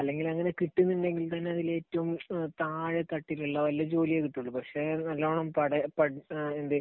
അല്ലെങ്കിൽ അങ്ങനെ കിട്ടുന്നുണ്ടെങ്കിൽത്തന്നെ അതിൽ ഏറ്റവും താഴെത്തട്ടിലുള്ള വല്ല ജോലിയെ കിട്ടുകയുള്ളൂ. പക്ഷേ അത് നല്ലോണം പഠന, എന്ത്